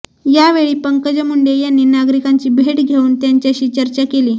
यावेळी पंकजा मुंडे यांनी नागरिकांची भेट घेऊन त्यांच्याशी चर्चा केली